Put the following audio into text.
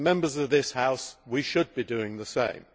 As Members of this House, we should be doing the same.